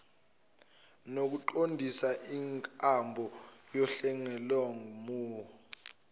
nokuqondisa inkambo yohlelomgomo